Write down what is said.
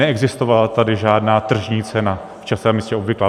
Neexistovala tady žádná tržní cena v čase a místě obvyklá.